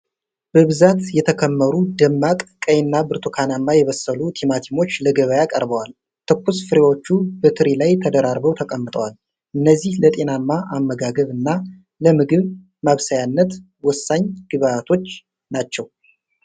በብዛት የተከመሩ ደማቅ ቀይና ብርቱካናማ የበሰሉ ቲማቲሞች ለገበያ ቀርበዋል። ትኩስ ፍሬዎቹ በትሪ ላይ ተደራርበው ተቀምጠዋል። እነዚህ ለጤናማ አመጋገብ እና ለምግብ ማብሰያነት ወሳኝ ግብአቶች ናቸው።